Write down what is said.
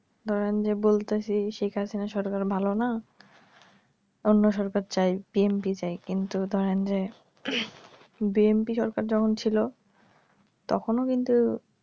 ধরেন যে বলতাছি সেইকার খানের সরকার ভালো না অন্য সরকার চায় pmv চায় কিন্তু ধরেন যে bmp সরকার যখন ছিল তখনও কিন্তু